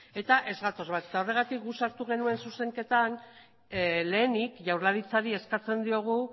eta ez gatoz bat eta horregatik guk sartu genuen zuzenketan lehenik jaurlaritzari eskatzen diogu